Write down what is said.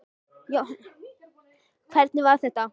Jóhannes: Hvernig var þetta?